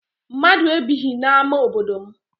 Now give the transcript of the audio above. Mmadụ ebighị n'ama obodo m.